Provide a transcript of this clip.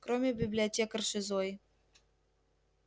кроме библиотекарши зои